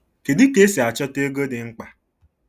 Kedu ka esi achọta ego dị mkpa?